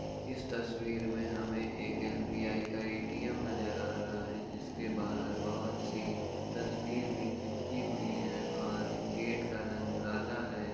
इस तस्वीर में हमें एक एस.बी.आई. का ए.टी.एम. नज़र आ रहा है जिसके बाहर बहोत सी तस्वीर भी चिपकी हुई हैं और गेट का रंग काला है।